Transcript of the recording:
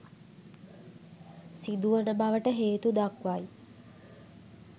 සිදුවන බවට හේතුදක්වයි.